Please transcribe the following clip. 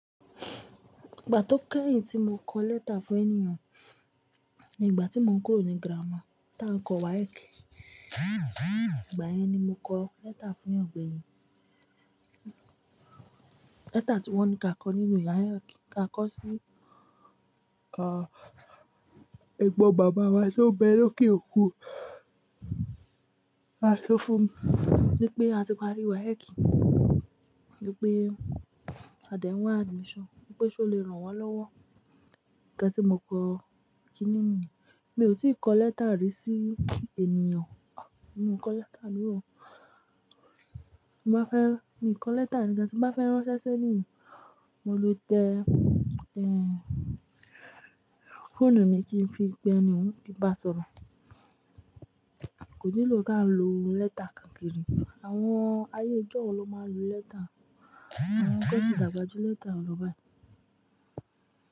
Ìgbà tó kẹ́yìn tí mo kọ lẹ́tà fún ẹni nìyẹn, ní ìgbà tí mò ń kúrò ní gírámà, tá ń kọ WAEC. Ìgbà yẹn ni mo kọ lẹ́tà fún ẹgbẹ̀rin. Lẹ́tà tí wọ́n ní ká kọ ní ìlú ayé, ká kọ sí, ah, ẹgbọ́n bàbá wa tó ń bẹ lóké òkú. A to fún un, wípé a ti parí WAEC, wípé a dẹ̀ ń wá admission, wípé ṣé o lè ràn wá lọ́wọ́. Nígbà tí mò kọ kí ni mí, mi ò tí ì kọ lẹ́tà rí sí ènìyàn, mo kọ lẹ́tà nìyẹn. Mo bá fẹ́, mi kọ lẹ́tà nìkan tí mo bá fẹ́ ránṣẹ́ sẹ́ni, mo ló tẹ, ẹ, fóònù mi kí n fi pe ẹni, kí n bá sọ̀rọ̀. Kò nílò kí a ń lo lẹ́tà káakí ri. Àwọn ayé ìjọ́un ló máa ń lo lẹ́tà. Àwọn tó ti dàgbà ju lẹ́tà lọ báyìí.